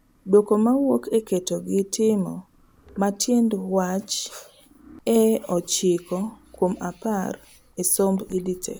Duoko mawuoke keto gi timo ma tiend wach e ochiko kuom apar e somb EdTech